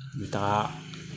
N bɛ taga